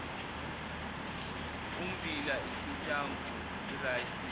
ummbila isitambu irayisi